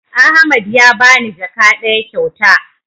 Ahmad ya bani jaka ɗaya kyauta